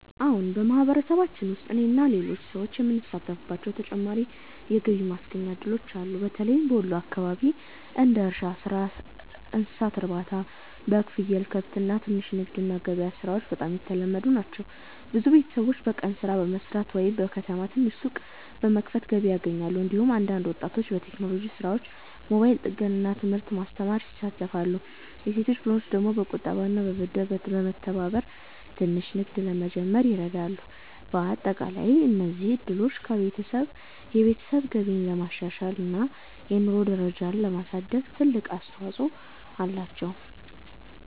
አዎን፣ በማህበረሰባችን ውስጥ እኔና ሌሎች ሰዎች የምንሳተፍባቸው ተጨማሪ የገቢ ማስገኛ እድሎች አሉ። በተለይም በወሎ አካባቢ እንደ እርሻ ሥራ፣ እንስሳት ማርባት (በግ፣ ፍየል፣ ከብት)፣ ትንሽ ንግድ እና ገበያ ሥራዎች በጣም የተለመዱ ናቸው። ብዙ ቤተሰቦች በቀን ሥራ በመስራት ወይም በከተማ ትንሽ ሱቅ በመክፈት ገቢ ያገኛሉ። እንዲሁም አንዳንድ ወጣቶች በቴክኖሎጂ ሥራዎች፣ ሞባይል ጥገና እና ትምህርት ማስተማር ይሳተፋሉ። የሴቶች ቡድኖች ደግሞ በቁጠባና ብድር በመተባበር ትንሽ ንግድ ለመጀመር ይረዳሉ። በአጠቃላይ እነዚህ እድሎች የቤተሰብ ገቢን ለማሻሻል እና የኑሮ ደረጃን ለማሳደግ ትልቅ አስተዋፅኦ አላቸው።